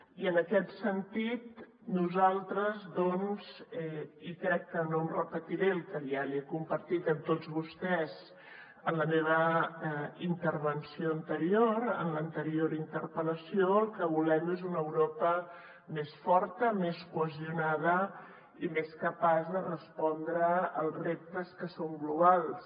i en aquest sentit nosaltres doncs i no repetiré el que ja he compartit amb tots vostès en la meva intervenció anterior en l’anterior interpel·lació el que volem és una europa més forta més cohesionada i més capaç de respondre als reptes que són globals